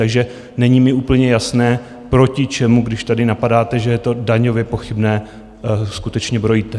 Takže není mi úplně jasné, proti čemu, když tady napadáte, že je to daňově pochybné, skutečně brojíte.